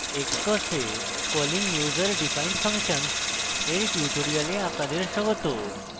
xcos এ calling userdefined functions এর tutorial আপনাদের স্বাগত